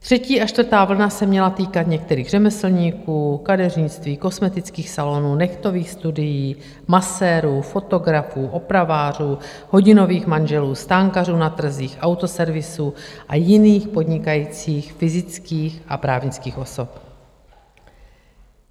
Třetí a čtvrtá vlna se měla týkat některých řemeslníků, kadeřnictví, kosmetických salonů, nehtových studií, masérů, fotografů, opravářů, hodinových manželů, stánkařů na trzích, autoservisů a jiných podnikajících fyzických a právnických osob.